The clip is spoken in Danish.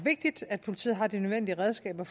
jeg